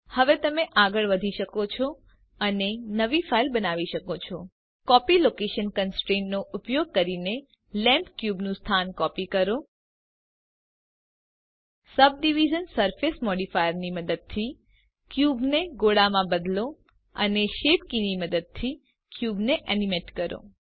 હવે તમે આગળ વધી શકો છો અને નવી ફાઈલ બનાવી શકો છો કોપી લોકેશન કોન્સ્ટ્રેન્ટ નો ઉપયોગ કરીને લેમ્પ પર ક્યુબનું સ્થાન કોપી કરો સબડિવિઝન સરફેસ મોડિફાયર મદદથી ક્યુબને ગોળામાં બદલો અને શેપ કીની મદદથી ક્યુબ એનીમેટ કરો